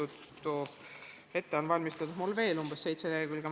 Ette on mul valmistatud veel seitse lehekülge.